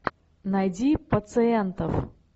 найди пациентов